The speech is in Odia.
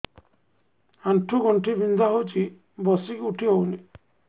ଆଣ୍ଠୁ ଗଣ୍ଠି ବିନ୍ଧା ହଉଚି ବସିକି ଉଠି ହଉନି